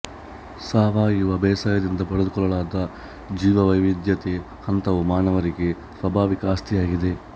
ಸಾವಯವ ಬೇಸಾಯದಿಂದ ಪಡೆದುಕೊಳ್ಳಲಾದ ಜೀವವೈವಿಧ್ಯತೆಯ ಹಂತವು ಮಾನವರಿಗೆ ಸ್ವಾಭಾವಿಕ ಆಸ್ತಿಯಾಗಿದೆ